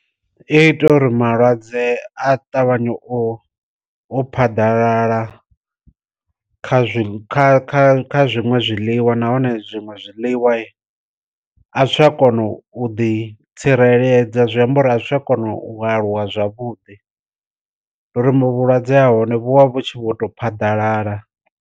I ita uri malwadze a ṱavhanye u u phaḓalala kha zwiṅwe kha zwiṅwe zwiḽiwa, nahone zwiṅwe zwiḽiwa a zwi tsha kona u ḓi tsireledza zwiamba uri a zwi tsha kona u aluwa zwavhuḓi ngo ri mu vhulwadze ha hone vhu vha vhu tshi vho to phaḓalala.